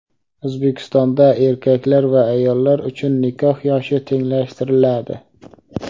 O‘zbekistonda erkaklar va ayollar uchun nikoh yoshi tenglashtiriladi.